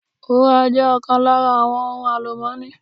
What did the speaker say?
Wúrà jé ọ̀kan lára àwọn ohun àlùmọ́ọ́nì